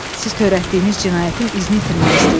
Siz törətdiyiniz cinayətin izini itirməyə istəyirsiz.